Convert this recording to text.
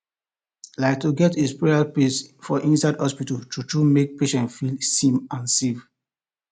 like to get a prayer space for inside hospital truetrue make patients feel seen and safe